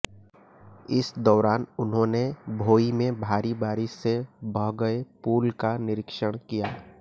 इस दौरान उन्होंने भोई में भारी बारिश से बह गये पुल का निरीक्षण किया